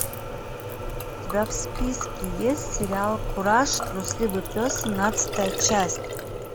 у тебя в списке есть сериал кураж трусливый пес семнадцатая часть